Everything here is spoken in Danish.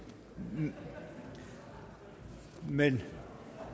men men